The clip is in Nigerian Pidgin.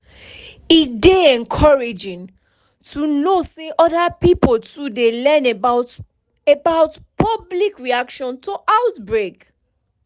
e dey encouraging to know say other pipo too dey learn about about public reaction to outbreak